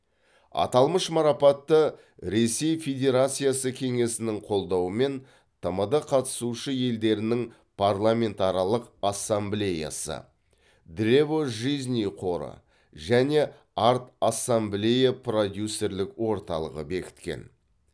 аталмыш марапатты ресей федерациясы кеңесінің қолдауымен тмд қатысушы елдерінің парламентаралық ассамблеясы древо жизни қоры және арт ассамблея продюсерлік орталығы бекіткен